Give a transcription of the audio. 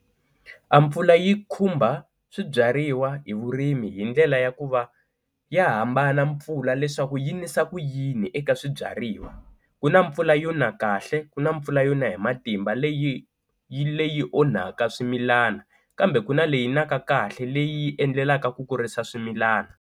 A mpfula yi khumba swibyariwa hi vurimi hi ndlela ya ku va ya hambana mpfula leswaku yi nisa ku yini eka swibyariwa, ku na mpfula yo na kahle ku na mpfula yona hi matimba leyi yi leyi onhaka swimilana kambe ku na leyi na ka kahle leyi endlelaka ku kurisa swimilana.